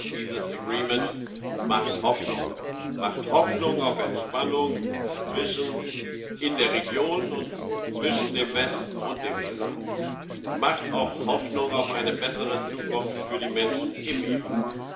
Und dennoch Dieses Agreement macht Hoffnung, Hoffnung auf Entspannung in der Region und zwischen dem Westen und dem Iran. Es macht auch Hoffnung auf eine bessere Zukunft für die Menschen im Iran.